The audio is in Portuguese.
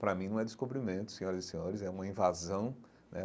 Para mim não é Descobrimento, senhoras e senhores, é uma invasão né.